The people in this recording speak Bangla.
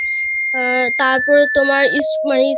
অ্যাঁ তারপরে তোমার school এ